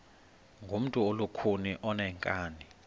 ngumntu olukhuni oneenkani